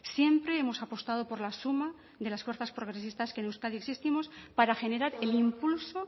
siempre hemos apostado por la suma de las fuerzas progresistas que en euskadi existimos para generar el impulso